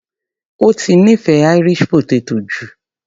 Ó ti nífẹ̀ẹ́ Irish potato jù.